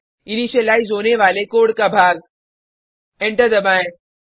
initialise होने वाले code का भाग एंटर दबाएँ